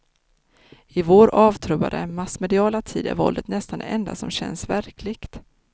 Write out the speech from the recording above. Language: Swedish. I vår avtrubbade, massmediala tid är våldet nästan det enda som känns verkligt.